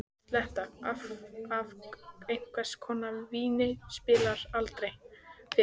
Sletta af einhvers konar víni spillir aldrei fyrir.